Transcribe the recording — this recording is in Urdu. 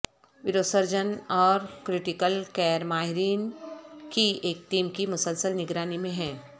وروسرجن اور کریٹکل کیئر ماہرین کی ایک ٹیم کی مسلسل نگرانی میں ہیں